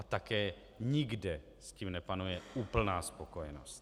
A také nikde s tím nepanuje úplná spokojenost.